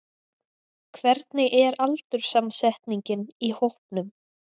Hvernig er aldurssamsetningin í hópnum?